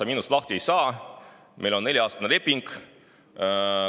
Ja minust sa lahti ei saa, meil on nelja-aastane leping.